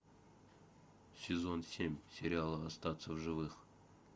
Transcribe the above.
сезон семь сериала остаться в живых